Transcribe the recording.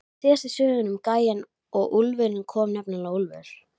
Síðast í sögunni um gæjann og úlfinn kom nefnilega úlfur.